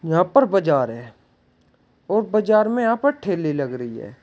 यहां पर बाजार है और बाजार में यहां पर ठेले लग रही है।